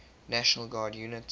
national guard units